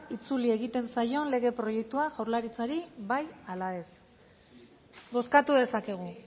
itzuli egiten zaion legen proiektua jaurlaritzari bai ala ez bozkatu dezakegu